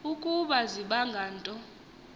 ukuba zibange nto